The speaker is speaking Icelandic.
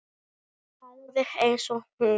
Alveg eins og hún.